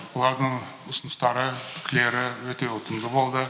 бұлардың ұсыныстары пікірлері өте ұтымды болды